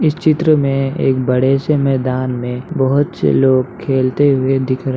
इस चित्र में एक बड़े से मैदान मे बहोत से लोग खेलते हुए दिख रहे --